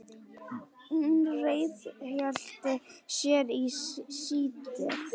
Hún ríghélt sér í sætið.